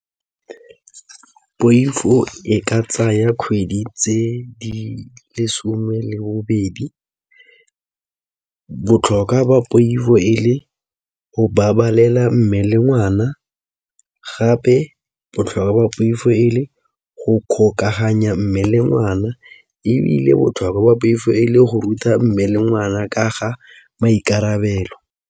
Poifo e ka tsaya kgwedi tse di lesome le bobedi, botlhokwa ba poifo e le go babalela mme le ngwana gape botlhokwa ba poifo e le go kgokaganya mme ngwana ebile botlhokwa ba poifo e le go ruta mme le ngwana ka ga maikarabelo.